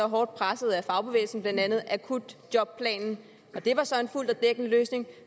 hårdt presset af fagbevægelsen blandt andet akutjobplanen og det var så en fuld og dækkende løsning